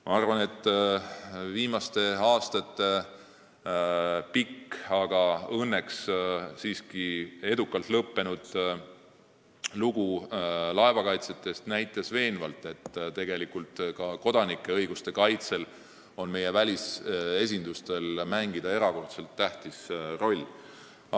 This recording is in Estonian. Ma arvan, et viimaste aastate pikk, aga õnneks siiski edukalt lõppenud lugu laevakaitsjatest näitab veenvalt, et tegelikult on meie välisesindustel ka kodanike õiguste kaitsel erakordselt tähtis roll.